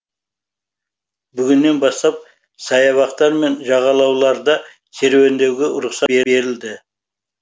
бүгіннен бастап саябақтар мен жағалауда серуендеуге рұқсат берілді